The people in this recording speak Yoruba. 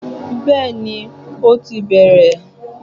Béeni, ó ti bẹ̀rẹ̀